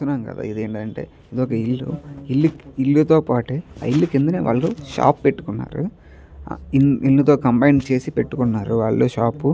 ఇదేంటంటే ఇది ఒక ఇల్లు. ఇల్లు ఇల్లు తో పాటే ఆ ఇల్లు కిందనే వాళ్లకు షాప్ పెట్టుకున్నారు. ఇల్లు తో కంబైన్ చేసి పెట్టుకున్నారు వాళ్లు షాప్ .